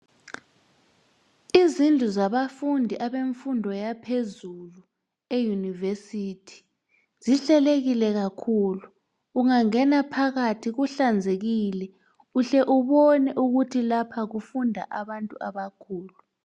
Izindlu zabafundi abemfundo yaphezulu euniversithi zihlelekile kakhulu ungangena phakathi kuhlanzekile uhle ubone ukuthi lapha kufunda abantu abakhulu